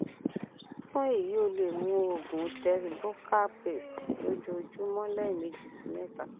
fun eyi o le mu oògùn tess buccal paste lojoojumọ lẹmeji si mẹta